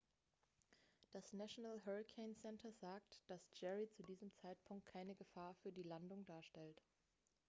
das national hurricane center nhc sagt dass jerry zu diesem zeitpunkt keine gefahr für die landung darstellt